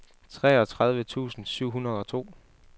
toogtredive tusind syv hundrede og to